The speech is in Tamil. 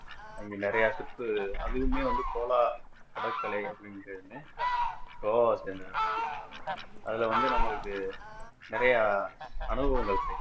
அங்க நிறைய சுத்து அதுவுமே வந்து solar கடற்கரை அப்பிடின்ன உடனே கோவாவ சேர்ந்ததுதான் அதுல வந்து நம்மளுக்கு நிறைய அனுபவங்கள்